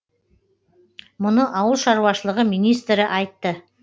мұны ауыл шаруашылығы министрі айтты